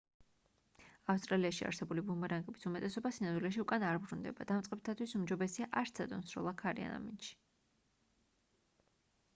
ავსტრალიაში არსებული ბუმერანგების უმეტესობა სინამდვილეში უკან არ ბრუნდება დამწყებთათვის უმჯობესია არ სცადონ სროლა ქარიან ამინდში